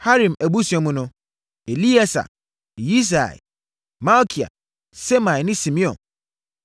Harim abusua mu no: Elieser, Yisia, Malkia Semaia ne Simeon.